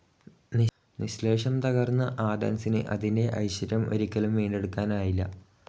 നിശ്ശേഷം തകർന്ന ആഥൻസിന് അതിന്റെ ഐശ്വര്യം ഒരിക്കലും വീണ്ടെടുക്കാനായില്ല.